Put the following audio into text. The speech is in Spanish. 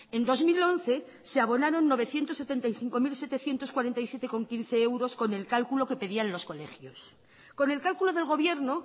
en dos mil once se abonaron novecientos setenta y cinco mil setecientos cuarenta y siete coma quince euros con el cálculo que pedían los colegios con el cálculo del gobierno